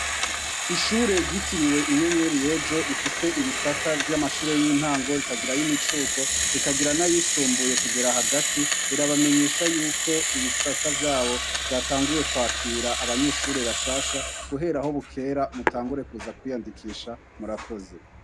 Ishure gitiriwe inyenyeri yejo rifise ibisata vy'amashure y'intango rikagirayo imicuko rikagira na yisumbuye kugera hagati rirabamenyesha yuko ibisata vyabo vyatanguye kwakira abanyeshure bashasha guhera aho bukera mutangure kuza kwiyandikisha murakoze.